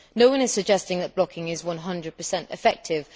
No one is suggesting that blocking is 100 effective.